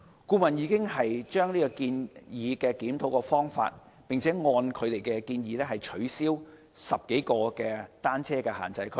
顧問已就檢討方法提出建議，並按此建議取消10多個單車限制區。